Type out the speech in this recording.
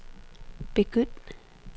begynd